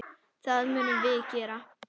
Það munum við gera.